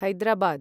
Hyderabad